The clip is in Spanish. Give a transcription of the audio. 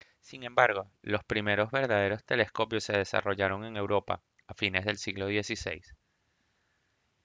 sin embargo los primeros verdaderos telescopios se desarrollaron en europa a fines del siglo xvi